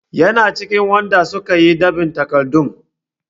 Yana cikin waɗanda su ka yi ɗab'in takardun.